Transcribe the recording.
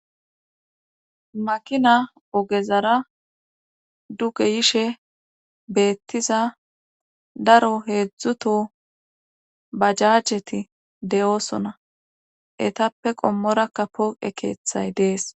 makina ogezara duge yishe beettiza daro heedzdzuto bajajeti de7oosona etappe qommorakka pooqe keeththay dees